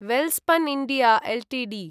Welspun India Ltd